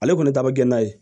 Ale kɔni ta bɛ kɛ n'a ye